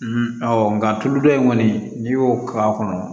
nka tulu dɔ in kɔni n'i y'o k'a kɔnɔ